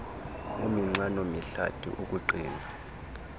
uminxano mihlathi ukuqina